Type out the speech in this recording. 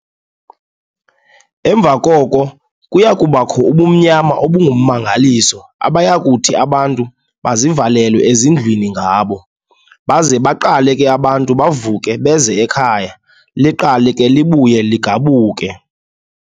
Emva koko kuya kubakho ubumnyama obummangaliso abayakuthi abantu bazivalele ezindlwini ngabo, baze baqale ke abantu bavuke beze ekhaya, liqale ke libuye ligabuke.